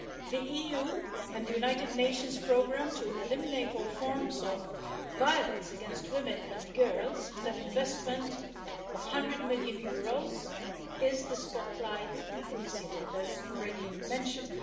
The EU and the United Nations programme to eliminate all forms of violence against women and girls, with an investment of EUR 100 million, is the Spotlight Initiative, as was already mentioned.